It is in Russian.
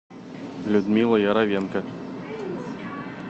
людмила яровенко